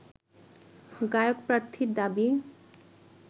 গায়ক প্রার্থীর দাবি